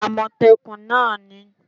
amotekun náà ni